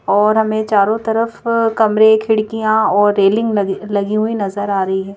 और हमें चारों तरफ अअ कमरे खिड़कियां और रेलिंग लगलगी हुई नजर आ रही है।